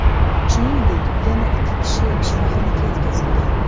Shuningdek, yana ikki kishi shifoxonaga yetkazilgan.